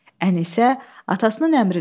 Ənisə atasının əmrinə boyun əyməyəcəkdi.